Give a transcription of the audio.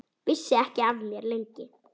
Vissi ekki af mér, lengi.